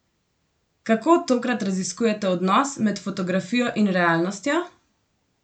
Kako tokrat raziskujete odnos med fotografijo in realnostjo?